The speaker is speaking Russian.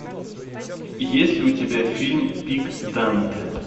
есть ли у тебя фильм пик данте